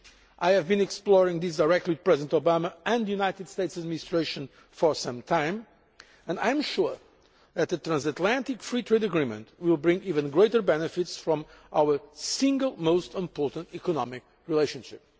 I have been exploring this directly with President Obama and the United States administration for some time and I am sure that a transatlantic free trade agreement will bring even greater benefits from our single most important economic relationship.